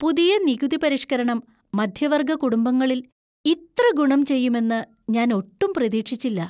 പുതിയ നികുതിപരിഷ്കരണം മധ്യവർഗ കുടുംബങ്ങളിൽ ഇത്ര ഗുണം ചെയ്യുമെന്ന് ഞാൻ ഒട്ടും പ്രതീക്ഷിച്ചില്ല.